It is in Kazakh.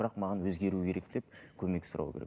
бірақ маған өзгеру керек деп көмек сұрау керек